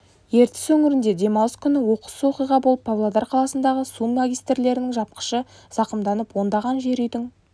ертіс өңірінде демалыс күні оқыс оқиға болып павлодар қаласындағы су магистралінің жапқышы зақымданып ондаған жер үйдің